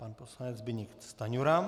Pan poslanec Zbyněk Stanjura.